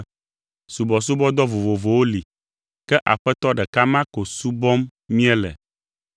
Subɔsubɔdɔ vovovowo li, ke Aƒetɔ ɖeka ma ko subɔm míele.